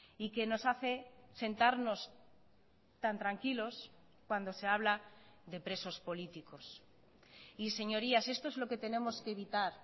y que nos hace sentarnos tan tranquilos cuando se habla de presos políticos y señorías esto es lo que tenemos que evitar